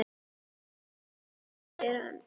Nú jæja segir hann.